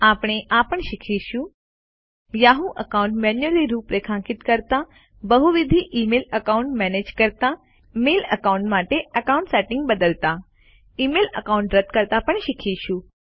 આપણે એ પણ શીખીશું160 યાહૂ એકાઉન્ટ મેન્યુઅલી રૂપરેખાંકિત કરતા બહુવિધ ઈ મેલ એકાઉન્ટ્સ મેનેજ કરતા મેઇલ એકાઉન્ટ માટે એકાઉન્ટ સેટિંગ્સ બદલતા ઇમેઇલ એકાઉન્ટ રદ કરતા પણ શીખીશું